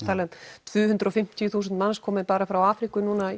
um tvö hundruð og fimmtíu þúsund manns komið bara frá Afríku núna